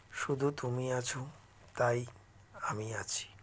শুধু তুমি আছো তাই আমি আছি